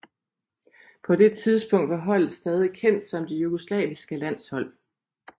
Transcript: På det tidspunkt var holdet stadig kendt som det jugoslaviske landshold